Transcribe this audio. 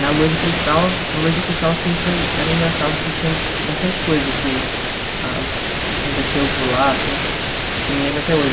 Na Lua de Cristal na Lua de Cristal assim foi era engraçado porque tinha bastante coisa que aconteceu por lá assim, que eu me lembro até hoje.